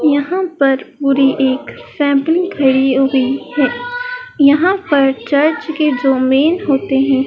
यहां पर पूरी एक सैंपलिंग खड़ी हुई है यहां पर चर्च के जो मेन होते हैं।